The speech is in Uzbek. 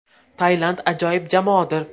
Tailand ajoyib jamoadir.